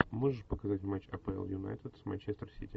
можешь показать матч апл юнайтед с манчестер сити